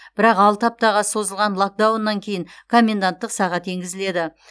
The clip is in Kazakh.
бірақ алты аптаға созылған локдауннан кейін коменданттық сағат енгізіледі